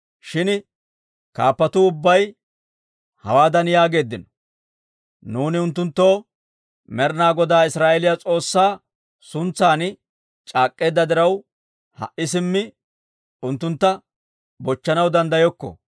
Shin kaappatuu ubbay hawaadan yaageeddino; «Nuuni unttunttoo Med'ina Godaa Israa'eeliyaa S'oossaa suntsan c'aak'k'eedda diraw, ha"i simmi unttuntta bochchanaw danddayokko.